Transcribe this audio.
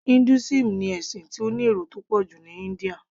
Hinduism ni ẹ̀sìn tó ní èrò tó pọ̀ jù ní India